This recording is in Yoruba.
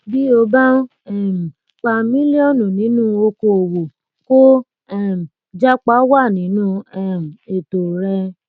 bí o bá ń um pa mílíọnù nínú oko òwò kó um jápa wà nínú um ètò rẹ